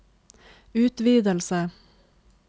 utvidelse